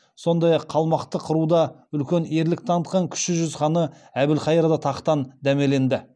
сондай ақ қалмақты қыруда үлкен ерлік танытқан кіші жүз ханы әбілхайырда тақтан дәмеленді